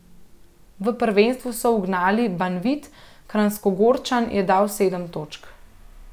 V prvenstvu so ugnali Banvit, Kranjskogorčan je dal sedem točk.